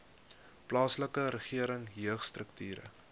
plaaslike regering jeugstrukture